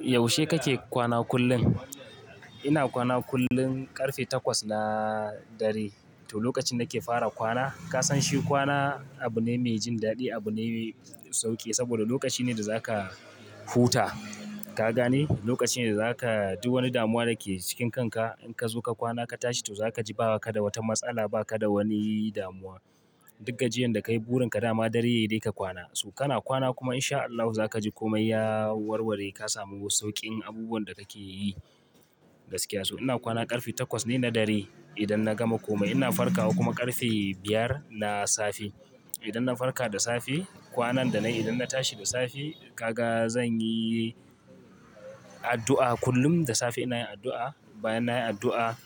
Yaushe kake kwana kullum? Ina kwana kullum ƙarfe takwas na dare. To lokacin nike fara kwana, ka san shi kwana abu ne me jin daɗi, abu ne me sauƙi saboda lokaci ne da zaka huta. Ka gane? Lokaci ne da zaka ji wani damuwa da ke cikin kanka. In ka zo ka kwana ka tashi, to za ka ji ba ka da wata matsala, ba ka da wani damuwa. Duk gajiyan da kai burin ka dama dare yai de ka kwana. So kana kwana kuma in sha Allahu za ka ji komai ya warware. Ka samu sauƙin abubuwan da kake yi gaskiya su. Ina kwana ƙarfe takwas ne na dare. Idan na gama komai ina farkawa kuma ƙarfe biyar na safe. Idan na farka da safe, kwanan da na yi idan na tashi da safe, ka ga zan yi addu'a kullum da safe ina yin addu'a. Bayan na yi addu'a